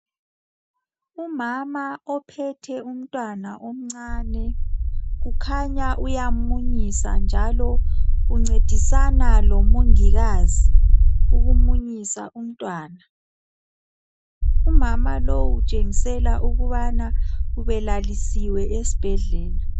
Umama ophethe umntwana omncane. Kukhanya uyammunyisa, njalo, uncedisana lomongikazi ukumunyisa umntwana. Umama lowu kukhanya ukuba ubelalisiwe esibhedlela.